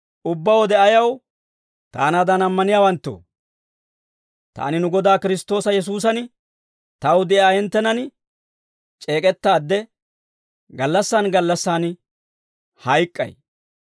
Taanaadan ammaniyaawanttoo, taani nu Godaa Kiristtoosa Yesuusan taw de'iyaa hinttenan c'eek'ettaadde, gallassaan gallassaan hayk'k'ay.